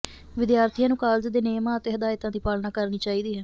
ਵਿਦਿਆਰਥੀਆਂ ਨੂੰ ਕਾਲਜ ਦੇ ਨਿਯਮਾਂ ਅਤੇ ਹਦਾਇਤਾਂ ਦੀ ਪਾਲਣਾ ਕਰਨੀ ਚਾਹੀਦੀ ਹੈ